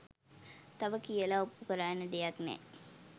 තව කියලා ඔප්පුකරන්න දෙයක් නෑ